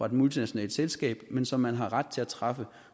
et multinationalt selskab men som man har ret til at træffe